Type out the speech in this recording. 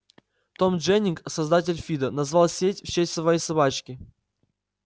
том дженнинг создатель фидо назвал сеть в честь своей собачки